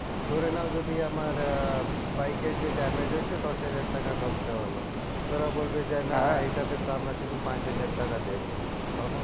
ধরে নাও আমার যদি আহ bike এর যে damage হয়েছে দশ হাজার টাকা খরচা হলো ওরা বলবে যে না এইটাতে তো আমরা শুধু পাঁচ হাজার টাকা দেবো তখন